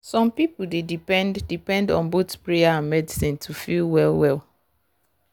some people dey depend depend on both prayer and medicine to feel well well.